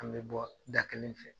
An bɛ bɔ da kelen fɛ.